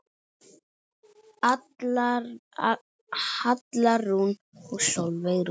Alla Rún og Sólveig Rún.